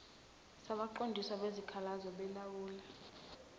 sabaqondisi bezikhalazo belawula